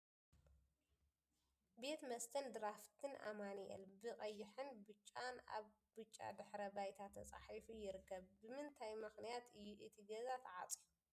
ቤት መስትን ድራፍትን ኣማኑኤል ብ ቀይሕን ብ ጫን ኣብ ብጫ ድሕረ ባይታ ተፃሒፉ ይርከብ ። ብ ምንታይ መክንያት እዩ እቲ ገዛ ተዕፅዩ ?